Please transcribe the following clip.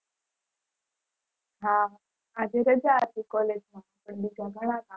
હા આજે રજા હતી college માં